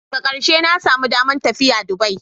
Daga karshe na samu damar tafiya Dubai.